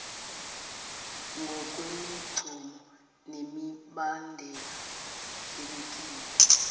ngokwemigomo nemibandela ebekiwe